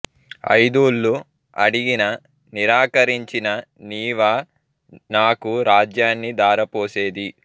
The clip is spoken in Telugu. అయిదూళ్ళు అడిగిన నిరాకరించిన నీవా నాకు రాజ్యాన్ని ధార పోసేది